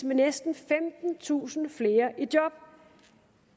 med næsten femtentusind flere i job